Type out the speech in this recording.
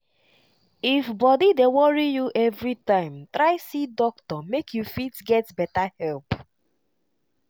if body dey worry you everytime try see doctor make you fit get better help.